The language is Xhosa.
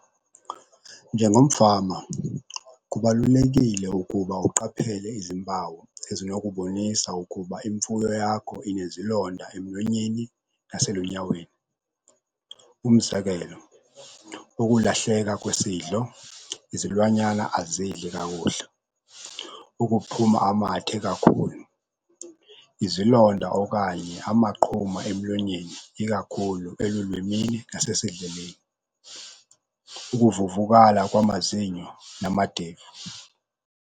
Njengomfama kubalulekile ukuba uqaphele izimpawu ezinokubonisa ukuba imfuyo yakho inezilonda emlonyeni naselunyaweni, umzekelo, ukulahleka kwesidlo. Izilwanyana azidli kakuhle, ukuphuma amathe kakhulu, izilonda okanye amaqhuma emlonyeni ikakhulu elulwimini nasesidleleni. Ukuvuvukala kwamazinyo namadevu.